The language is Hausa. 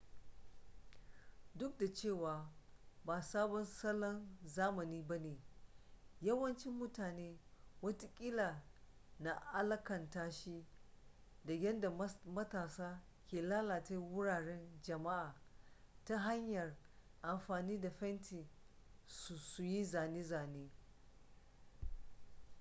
duk da cewa ba sabon salon zamani ba ne yawancin mutane watakila na alakanta shi da yadda matasa ke lalata wuraren jama'a ta hanyar amfani da fenti su yi zane-zane